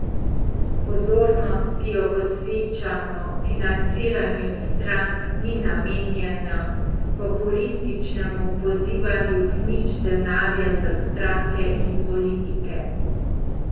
Pozornost, ki jo posvečamo financiranju strank, ni namenjena populističnemu pozivanju k nič denarja za stranke in politike.